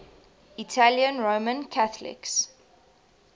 italian roman catholics